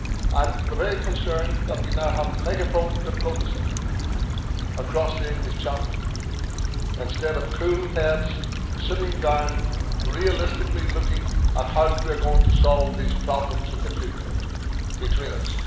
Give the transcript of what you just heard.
I am very concerned that we now have megaphone diplomacy across the English Channel, instead of cool heads sitting down and realistically looking at how we are going to solve these problems in the future between us.